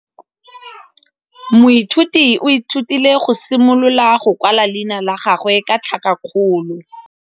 Moithuti o ithutile go simolola go kwala leina la gagwe ka tlhakakgolo.